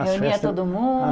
Reunia todo